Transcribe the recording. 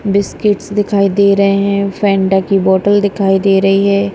Biscuits दिखाई दे रहे हैं फेंटा की बॉटल दिखाई दे रही है।